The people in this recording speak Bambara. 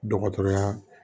Dɔgɔtɔrɔya